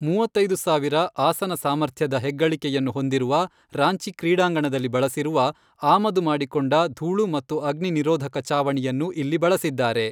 ಮೂವತ್ತೈದು ಸಾವಿರ, ಆಸನ ಸಾಮರ್ಥ್ಯದ ಹೆಗ್ಗಳಿಕೆಯನ್ನು ಹೊಂದಿರುವ ರಾಂಚಿ ಕ್ರೀಡಾಂಗಣದಲ್ಲಿ ಬಳಸಿರುವ, ಆಮದು ಮಾಡಿಕೊಂಡ ಧೂಳು ಮತ್ತು ಅಗ್ನಿ ನಿರೋಧಕ ಛಾವಣಿಯನ್ನು ಇಲ್ಲಿ ಬಳಸಿದ್ದಾರೆ.